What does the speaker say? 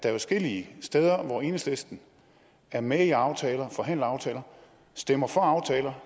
er adskillige steder hvor enhedslisten er med i aftaler og forhandler aftaler stemmer for aftaler